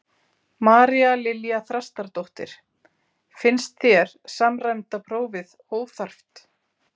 María Lilja Þrastardóttir: Finnst þér samræmda prófið óþarft?